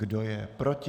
Kdo je proti?